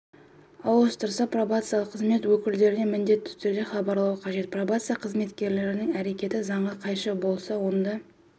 ауыстырса пробациялық қызмет өкілдеріне міндетті түрде хабарлауы қажет пробация қызметкерлерінің әрекеті заңға қайшы болса онда